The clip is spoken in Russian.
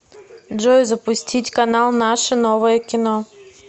джой запустить канал наше новое кино